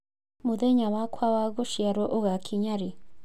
mũthenya wakwa wa gũciarwo ũgakinya rĩ